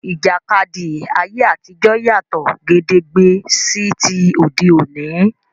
Ìjàkadì ayé àtijọ́ yàtọ̀ gédégbé sí ti òde òní.